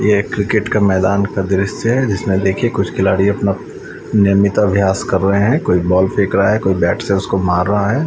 ये एक क्रिकेट का मैदान का दृश्य है जिसमें देखिए कुछ खिलाड़ी अपना नियमित अभ्यास कर रहे हैं कोई बॉल फेंक रहा है कोई बैंट से उसको मार रहा है।